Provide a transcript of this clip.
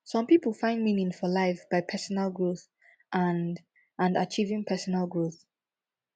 some pipo find meaning for life by personal growth and and achieving personal growth